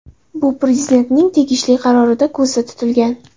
Bu Prezidentning tegishli qarorida ko‘zda tutilgan .